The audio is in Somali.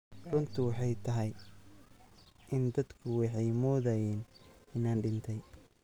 Runtu waxay tahay in dadku waxay moodayeen inaan dhintay.